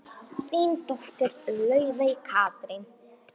Þín dóttir, Laufey Katrín.